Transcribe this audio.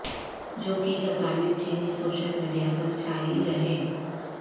جو کی تصاویر چینی سوشل میڈیا پر چھائی رہیں